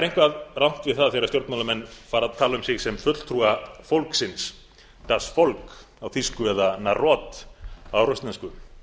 eitthvað rangt við það þegar stjórnmálamenn fara að tala um sig sem fulltrúa fólksins das volk eða narod á rússnesku